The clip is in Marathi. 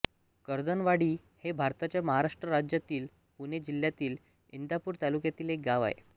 कर्दनवाडी हे भारताच्या महाराष्ट्र राज्यातील पुणे जिल्ह्यातील इंदापूर तालुक्यातील एक गाव आहे